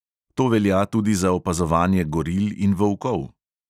To velja tudi za opazovanje goril in volkov.